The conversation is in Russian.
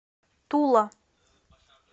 тула